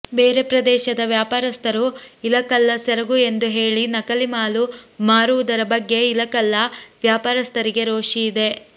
ಬೇರೆ ಪ್ರದೇಶದ ವ್ಯಾಪಾರಸ್ಥರು ಇಲಕಲ್ಲ ಸೆರಗು ಎಂದು ಹೇಳಿ ನಕಲಿ ಮಾಲು ಮಾರುವುದರ ಬಗ್ಗೆ ಇಲಕಲ್ಲ ವ್ಯಾಪಾರಸ್ಥರಿಗೆ ರೋಷಿ ಇದೆ